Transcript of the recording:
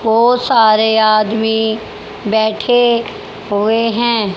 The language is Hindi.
बहोत सारे आदमी बैठे हुए हैं।